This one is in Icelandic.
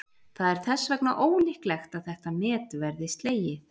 það er þess vegna ólíklegt að þetta met verði slegið